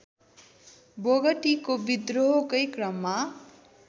बोगटीको बिद्रोहकै क्रममा